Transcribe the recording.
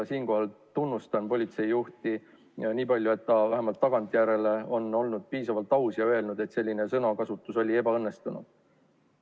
Siinkohal tunnustan politseijuhti, et ta vähemalt tagantjärele on olnud piisavalt aus ja öelnud, et selline sõnakasutus oli ebaõnnestunud.